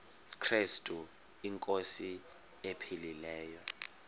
krestu inkosi ephilileyo